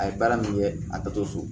A ye baara min kɛ a taatɔ so